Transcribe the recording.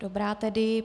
Dobrá tedy.